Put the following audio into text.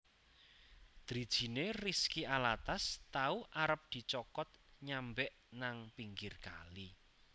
Drijine Rizky Alatas tau arep dicokot nyambek nang pinggir kali